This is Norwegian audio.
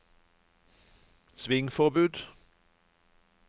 svingforbud